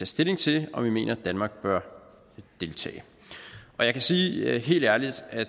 stilling til om vi mener at danmark bør deltage jeg kan sige helt ærligt at